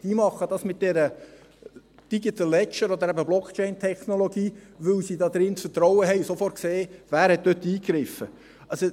Die machen das mit diesem Digital Ledger und dieser Blockchain-Technologie, weil sie darin das Vertrauen haben und sofort sehen, wer dort eingegriffen hat.